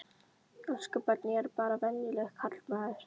Elsku barn, ég er bara venjulegur karlmaður.